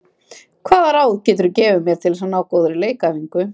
Hvaða ráð getur þú gefið mér til að ná góðri leikæfingu?